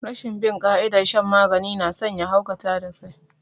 Rashin bin ƙa'idar shan magani nason ya haukata da kai